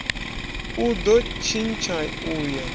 u do tshintsha u ya